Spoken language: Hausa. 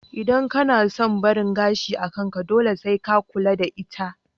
Idan kana son barin gashi a kanka, dole sai ka ka da ita